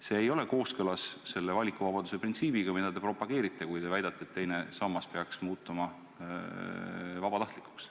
See ei ole kooskõlas valikuvabaduse printsiibiga, mida te propageerite, kui väidate, et teine sammas peaks muutuma vabatahtlikuks.